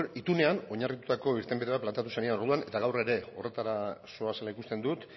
itunean oinarritutako irtenbide bat planteatu zenidan orduan eta gaur ere horretara zoazela ikusten dut